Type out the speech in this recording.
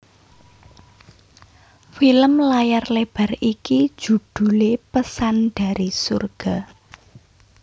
Film layar lebar iki judhulé Pesan dari Surga